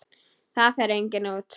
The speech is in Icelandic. Það fer enginn út!